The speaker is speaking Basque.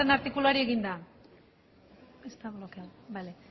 artikuluari egina